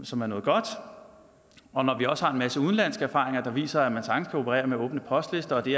som er noget godt og når vi også har en masse udenlandske erfaringer der viser at man sagtens kan operere med åbne postlister og at det